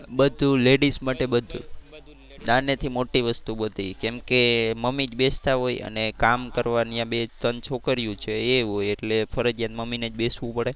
નાને થી મોટી વસ્તુ બધી કેમ કે મમ્મી જ બેસતા હોય અને કામ કરવા ત્યાં બે ત્રણ છોકરીયુ છે એ હોય એટલે ફરજિયાત મમ્મી ને જ બેસવું પડે.